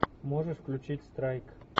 можешь включить страйк